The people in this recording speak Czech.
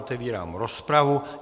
Otevírám rozpravu.